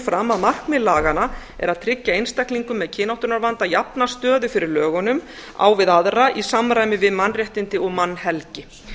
fram að markmið laganna er að tryggja einstaklingum með kynáttunarvanda jafna stöðu fyrir lögunum á við aðra í samræmi við mannréttindi og mannhelgi